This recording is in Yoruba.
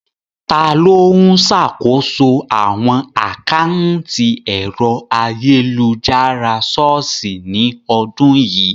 Ta ló ń ṣàkóso àwọn àkántì ẹ̀rọ ayélujára ṣọ́ọ̀ṣì ní ọdún yìí?